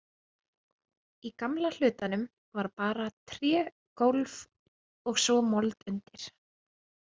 Í gamla hlutanum var bara trégólf og svo mold undir.